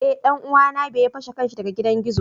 Eh danuwa na be ya fashe kansa daga gidan gizo.